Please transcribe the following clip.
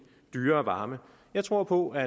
dyrere varme jeg tror på at